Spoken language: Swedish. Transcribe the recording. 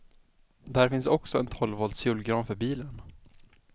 Där finns också en tolv volts julgran för bilen.